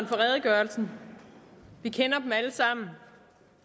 for redegørelsen vi kender dem alle sammen